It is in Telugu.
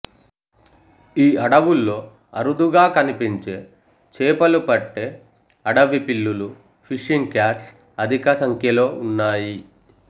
ఈ అడవుల్లో అరుదుగా కనిపించే చేపలు పట్టే అడవి పిల్లులు ఫిషింగ్ క్యాట్స్ అధిక సంఖ్యలో ఉన్నాయి